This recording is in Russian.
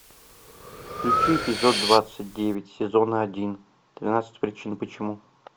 включи эпизод двадцать девять сезона один тринадцать причин почему